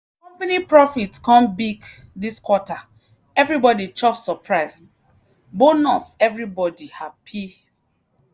company profit come big this quarter everybody chop surprise bonus everybody happy!